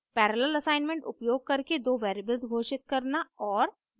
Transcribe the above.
parallel assignment उपयोग करके दो वेरिएबल्स घोषित करना और